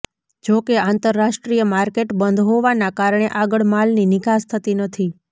જો કે આંતરરાષ્ટ્રીય માર્કેટ બંધ હોવાના કારણે આગળ માલની નિકાસ થતી નથી